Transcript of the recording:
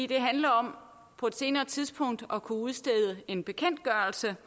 det handler om på et senere tidspunkt at kunne udstede en bekendtgørelse